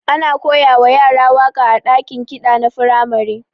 Ana koyawa yara waka a dakin ƙida na firamare.